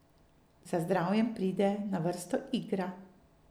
Za zdravjem pride na vrsto igra.